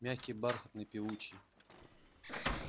мягкий бархатный певучий